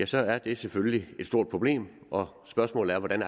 så er det selvfølgelig et stort problem og spørgsmålet er hvordan